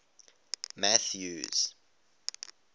mathews